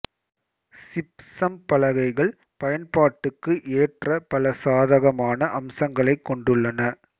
gypsum பலகைகள் பயன்பாட்டுக்கு ஏற்ற பல சாதகமான அம்சங்களைக் கொண்டுள்ளன